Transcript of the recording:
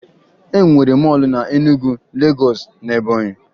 E nwere mọọlụ na Enugwu, Legọọsụ, na Ebọnyị